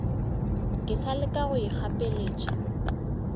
ke sa leka go ikgapeletša